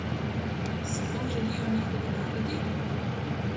Si to želijo njihovi narodi?